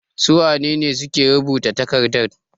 Su wane ne suke rubuta takardan?